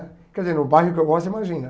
Quer dizer, no bairro que eu gosto, imagina.